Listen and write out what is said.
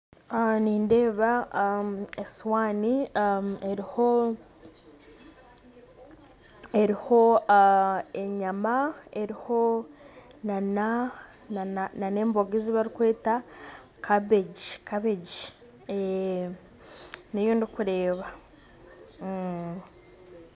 Nindeba esuwani eriho eriho enyama eriho nan'emboga ezibarikweta kabeegi kabeegi, niyondikureba.